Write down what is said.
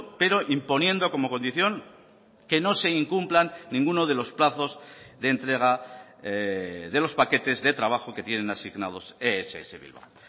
pero imponiendo como condición que no se incumplan ninguno de los plazos de entrega de los paquetes de trabajo que tienen asignados ess bilbao